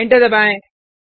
enter दबाएँ